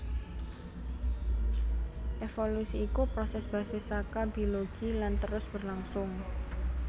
Évolusi iku prosès basis saka bilogi lan terus berlangsung